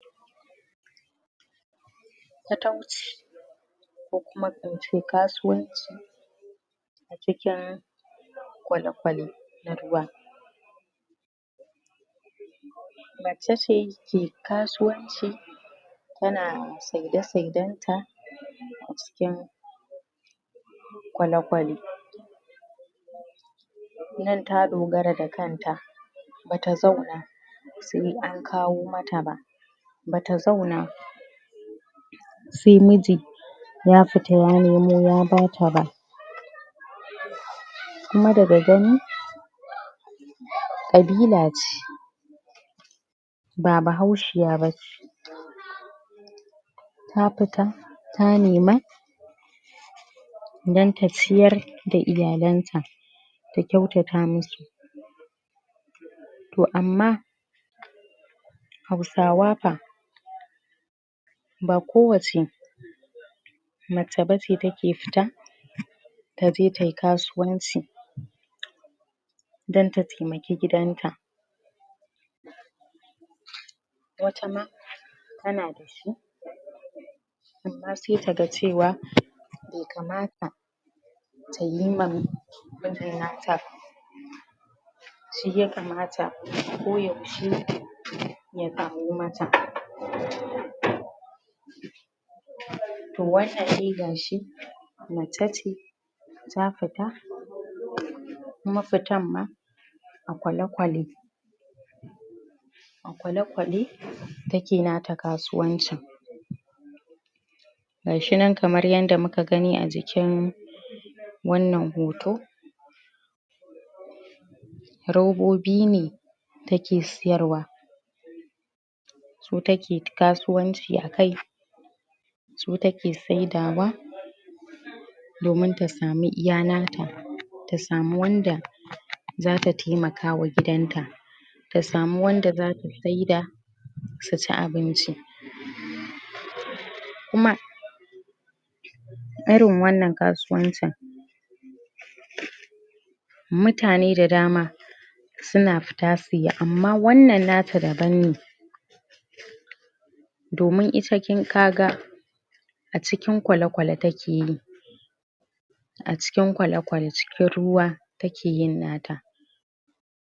Patauci, ko kuma ince kasuwanci a cikin kwale kwale na ruwa macece ke kasuwanci tana saide saiden ta a cikin kwale kwale nan ta dogara da kanta bata zauna bata zauna sai an kawo mata ba bata zauna sai miji ya fita ya nemo ya bata ba kuma daga gani kabila ce ba bahaushiya bace ta fita ta nema don ta ciyar da iyalan ta ta kyautata masu to amma hausawa fa ba kowace mace bace take fita taje tayi kasuwanci don ta taimaki gidanta wata ma tana da su amma sai taga cewa bai kamata mijin nata ba shiya kamata ko yaushe ya kawo mata to wannan dai gashi mace ce ta fita kuma fitar ma a kwale kwale, a kwale kwale take nata kasuwancin gashi nan kamar yanda muka gani a jikin wannan hoto robobi ne take sayarwa su take kasuwanci akai su take saidawa domin ta samu iya nata ta samu wanda zata taimakama gidan ta ta samu wanda zata saida suci abinci kuma irin wannan kasuwancin mutane da dama suna fita suyi amma wannan nata da banne domin ita kaga a cikin kwale kwale takeyi a cikin kwale kwale cikin ruwa take yin nata.